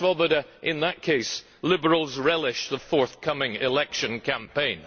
Mr Swoboda, in that case Liberals relish the forthcoming election campaign.